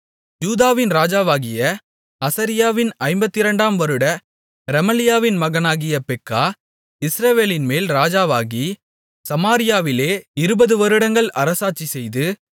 யூதாவின் ராஜாவாகிய அசரியாவின் ஐம்பத்திரண்டாம் வருட ரெமலியாவின் மகனாகிய பெக்கா இஸ்ரவேலின்மேல் ராஜாவாகி சமாரியாவிலே இருபதுவருடங்கள் அரசாட்சிசெய்து